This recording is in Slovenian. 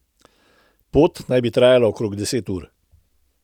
Pot naj bi trajala okrog deset ur.